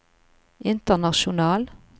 international